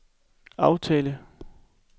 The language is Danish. aftale